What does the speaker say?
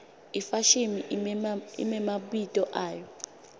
ifashimi imemabito ayo